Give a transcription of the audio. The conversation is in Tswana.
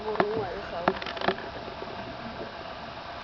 ya borongwa e e gaufi